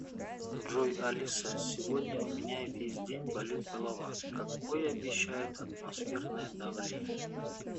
джой алиса сегодня у меня весь день болит голова какое обещают атмосферное давление